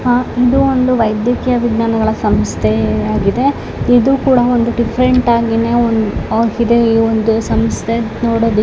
ಆಹ್ಹ್ ಇದು ಒಂದು ವೈದ್ಯಕೀಯ ವಿಜ್ಞಾನಗಳ ಸಂಸ್ಥೆ ಆಗಿದೆ. ಇದು ಕೂಡ ಒಂದ್ ಡಿಫರೆಂಟ್ ಆಗಿನೇ ಒಂದು ಆಗಿದೆ ಇದು ಒಂದು ಸಂಸ್ಥೆ--